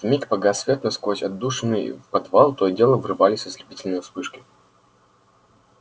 вмиг погас свет но сквозь отдушины в подвал то и дело врывались ослепительные вспышки